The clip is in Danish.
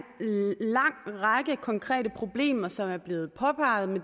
lang række konkrete problemer som er blevet påpeget